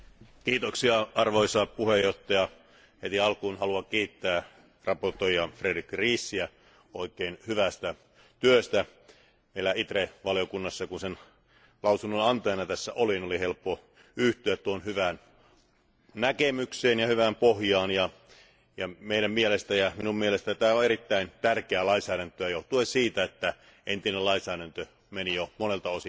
Arvoisa puhemies, heti alkuun haluan kiittää esittelijä Frédérique Riesiä oikein hyvästä työstä. Meillä ITRE valiokunnassa, ja kun sen lausunnon antajana tässä olin, oli helppo yhtyä tuohon hyvään näkemykseen ja hyvään pohjaan ja meidän mielestämme ja minun mielestäni tämä on erittäin tärkeää lainsäädäntöä johtuen siitä, että entinen lainsäädäntö meni jo monelta osin vanhaksi.